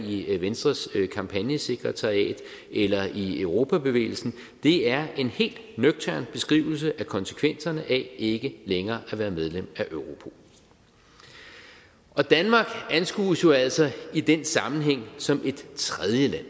i venstres kampagnesekretariat eller i europabevægelsen det er en helt nøgtern beskrivelse af konsekvenserne af ikke længere at være medlem af europol og danmark anskues jo altså i den sammenhæng som et tredjeland